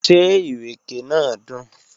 Ṣé ìrèké náà dùn?